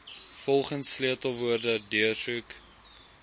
volgens sleutelwoorde deursoek